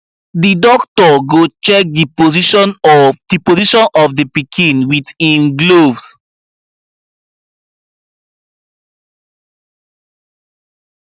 the doctor go check the position of the position of the pikin with him gloves